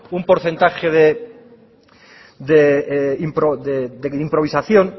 un porcentaje de improvisación